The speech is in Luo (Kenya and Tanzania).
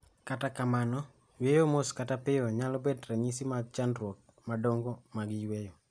Kata kamano yueyo mos kata piyo nyalo bet ranyisi mag chandruoge madongo mag yueyo